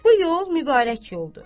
Bu yol mübarək yoldur.